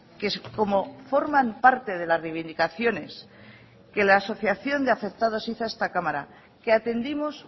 que como forman parte de las reivindicaciones que la asociación de afectados hizo a esta cámara que atendimos